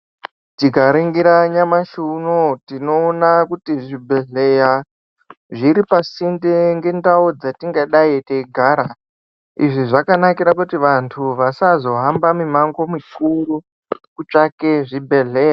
Tikaningira nyamashi unowu tinoona kuti zvibhedhlera zvuri pasinde nendau dzatingadai teigara izvi zvakanakira kuti vantu vasazohamba mimango mikuru kutsvaka Zvibhedhlera.